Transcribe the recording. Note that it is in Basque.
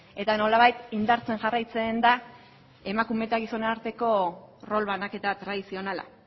eta nolabait indartzen jarraitzen da emakume eta gizonen arteko rol banaketa tradizionala